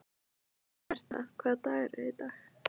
Herta, hvaða dagur er í dag?